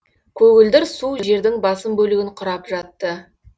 көгілдір су жердің басым бөлігін кұрап жатты